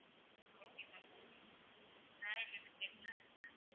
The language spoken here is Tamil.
okay ma'am okay வேற எந்த எந்த place எல்லாம் இருக்கு ma'am